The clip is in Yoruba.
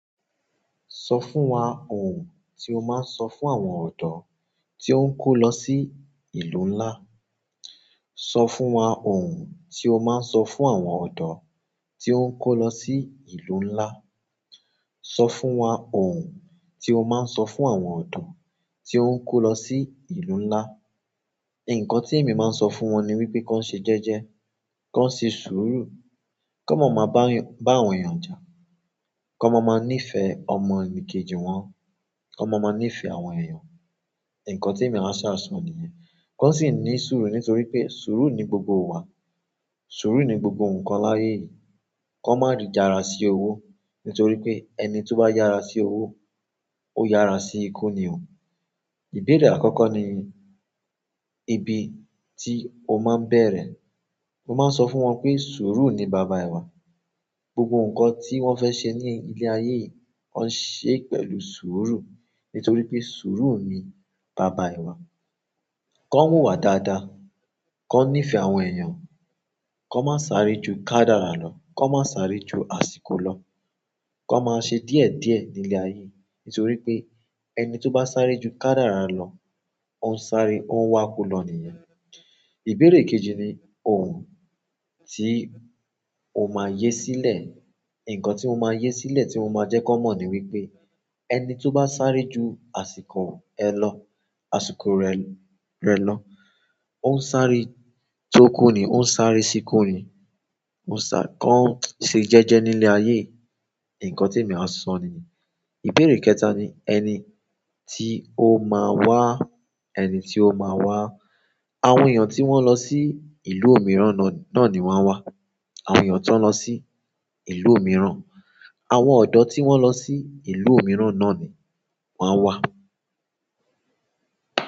Sọ fún wa ohùn tí o máa ń sọ fún àwọn ọ̀dọ́ tí ó ń kó lọ sí ìlú ńlá. Sọ fún wa ohùn tí o máa ń sọ fún àwọn ọ̀dọ́ tí ó ń kó lọ sí ìlú ńlá. Sọ fún wa ohùn tí o máa ń sọ fún àwọn ọ̀dọ́ tí ó ń kó lọ sí ìlú ńlá. Nkan ti emi maa n so fún won ni wípé ki won se jeje, kon se suuru, kon ma maa ba àwọn eeyan ja, kon maa maa ni fee omonikeji won, kon maa maa nífẹ̀ẹ́ àwọn eeyan. Ǹkan tí èmi á sáà sọ nìyẹn. Kón sì ní sùúrù nítorí pé sùúrù ni gbogbo ìwà. Sùúrù ni gbogbo ǹkan láyé yìí. Kó má rí jára sí owó nítorí pé ẹni tó bá yára sí owó, ó yára sí ikú ni o. Ìbẹ́rẹ àkọ́kọ́ ni ibi tí o máa ń bẹ̀rẹ̀. Mo máa ń sọ fún wọn pé sùúrù ni baba iwá. Gbogbo nkan ti won fe se ni ile aye yi, kon se pẹ̀lú suuru. Nítorí pé sùúrù ni baba ẹ̀ wá. Kó wu ìwà dáadáa, kón nífẹ̀ẹ́ àwọn èèyàn, kón má sáré ju kádàrá lọ, kón má sáré ju àsìkò lọ, kón má ṣe díẹ̀díẹ̀ ní ilẹ̀ ayé. Nítorí pé ẹni tó bá sáré ju kádàrá lọ, ó ń sáré, ó ń wá kú lọ nìyẹn. Ìbẹ́rẹ kejì ni ohùn tí o máa yé sílẹ̀. Ǹkan tí mo máa yé sílẹ̀ tí mo máa jẹ́ kón mọ̀ ni wípé eni to ba sáré ju àsìkò e lo-- àsìkò re lo, o sáré to ku ni, o n sáré si ku ni, kon se jeje nile aye yi. Ǹkan tí èmi á sọ nìyẹn. Ìbẹ́rẹ kẹta ni ẹni tí o máa wá, ẹni tí o máa wá. Àwọn èèyàn tí wọ́n lọ sí ìlú mìíràn náà ni wọ́n a wá. Àwọn èèyàn tó lọ sí ìlú mìíràn, àwọn ọ̀dọ́ tí wọ́n lọ sí ìlú mìíràn náà ni wọ́n a wá.